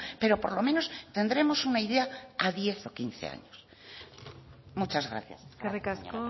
pero por lo menos tendremos una idea a diez o quince años muchas gracias eskerrik asko